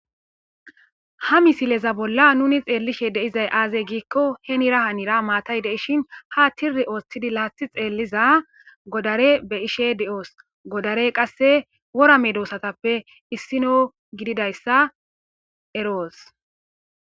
ha misileza bolla nuni xeellishe deizay aazey giikko henira hanira maatay deishin ha tiri ooththidi laathi xeelliza godare be ishe de7oos. godare qasse worame doosatappe issino gididayssa eroos.